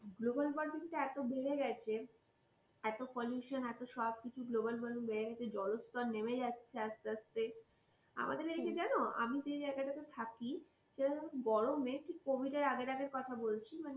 globalwarming টা এত বেড়ে গেছে এত pollution এত সবকিছু global warming বেড়ে গেছে জলস্থর নেমে যাচ্ছে আস্তে আস্তে আমাদের এদিকে জানো আমি যে জায়গাটাতে থাকি সেটা গরমে ঠিক কভিদের আগে আগের কথা বলছি মানে